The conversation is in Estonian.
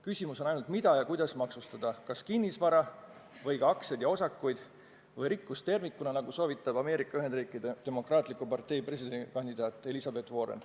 Küsimus on ainult, mida ja kuidas maksustada: kas kinnisvara või ka aktsiaid ja osakuid või rikkust tervikuna, nagu soovitab Ameerika Ühendriikide Demokraatliku Partei presidendikandidaat Elizabeth Warren.